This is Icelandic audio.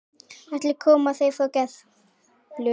Allir koma þeir frá Gerplu.